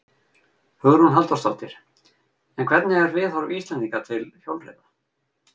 Hugrún Halldórsdóttir: En hvernig er viðhorf Íslendinga til hjólreiða?